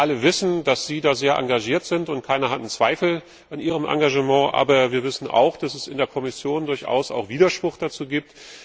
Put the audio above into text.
Wir alle wissen, dass Sie da sehr engagiert sind, und keiner hat Zweifel an Ihrem Engagement, aber wir wissen auch, dass es in der Kommission durchaus auch Widerspruch dazu gibt.